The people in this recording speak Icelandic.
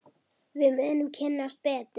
Við munum kynnast betur.